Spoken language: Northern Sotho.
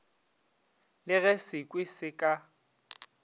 le ge sekhwi se ka